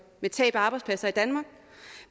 med tab af arbejdspladser i danmark